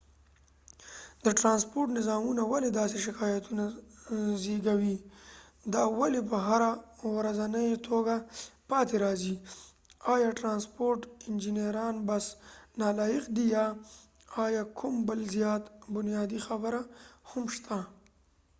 د ټرانسپورټ نظامونه ولې داسې شکایتونه زېږوي دا ولې په هره ورځنۍ توګه پاتې راځي آیا د ټرانسپورټ انجنیران بس نالایق دي یا ایا کوم بل زیات بنیادي خبره هم شته